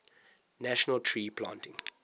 national tree planting